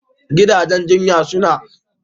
Gidajen jinya sukan ƙunshi wuraren cin abinci na gama gari.